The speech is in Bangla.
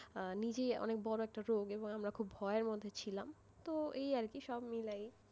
নিজেই অনেক বড় একটা রোগ এবং আমরা খুব ভয়ের মধ্যেই ছিলাম তো এই আর কি সবকিছু মিলায়ে,